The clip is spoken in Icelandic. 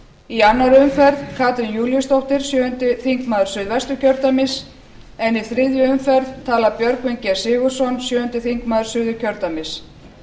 í annarri umferð katrín júlíusdóttir sjöundi þingmaður suðvesturkjördæmis en í þriðju umferð talar björgvin g sigurðsson sjöundi þingmaður suðurkjördæmis